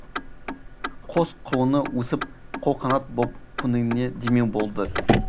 қос құлыны өсіп қолқанат боп көңіліне демеу болды